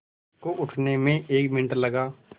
उसको उठने में एक मिनट लगा